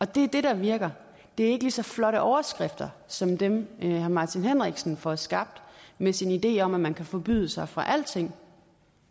det er det der virker det er ikke lige så flotte overskrifter som dem herre martin henriksen får skabt med sin idé om at man kan forbyde sig fra alting